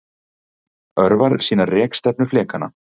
Örvarnar sýna rekstefnu flekanna.